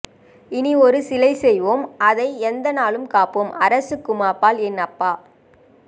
இனி ஒரு சிலைசெய்வோம் அதைக் எந்த நாளும் காப்போம் அரசுக்குமப்பால் என் அப்பா